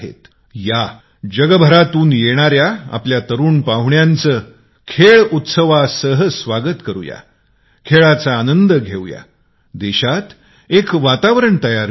या जगभरातून येणाऱ्या आपल्या तरुण पाहुण्याचे खेळ उत्सवासोबत स्वागत करु या खेळ एन्जॉय करू देशात एक वातावरण बनु या